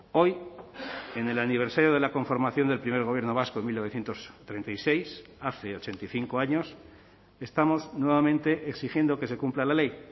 hoy en el aniversario de la conformación del primer gobierno vasco en mil novecientos treinta y seis hace ochenta y cinco años estamos nuevamente exigiendo que se cumpla la ley